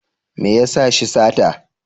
Me ya sa shi sata?